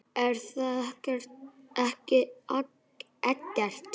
Er það ekki Eggert?